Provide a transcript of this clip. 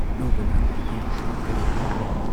ꯂꯨꯕ ꯅꯥꯟꯕꯒꯤꯗꯤ ꯀꯔꯤ ꯍꯥꯏꯔꯨꯅꯤ ꯫